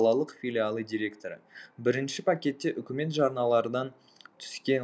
қалалық филиалы директоры бірінші пакетте үкімет жарналардан түскен